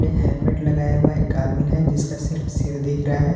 ये हेलमेट लगाया हुआ एक आदमी है जिसका सिर सिर्फ दिख रहा है।